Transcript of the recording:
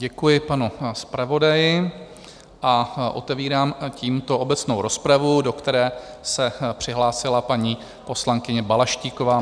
Děkuji panu zpravodaji a otevírám tímto obecnou rozpravu, do které se přihlásila paní poslankyně Balaštíková.